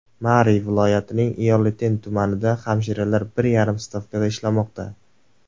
Mari viloyatining Ioleten tumanida hamshiralar bir yarim stavkada ishlamoqda.